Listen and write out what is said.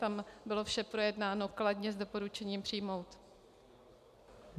Tam bylo vše projednáno kladně, s doporučením přijmout.